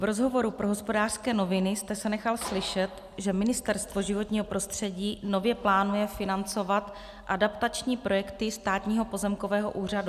V rozhovoru pro Hospodářské noviny jste se nechal slyšet, že Ministerstvo životního prostředí nově plánuje financovat adaptační projekty Státního pozemkového úřadu.